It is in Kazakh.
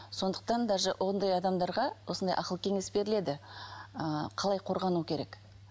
сондықтан даже ондай адамдарға осындай ақыл кеңес беріледі ы қалай қорғану керек